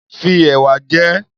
Fi ẹ̀wà jẹ ẹ́.